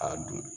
A don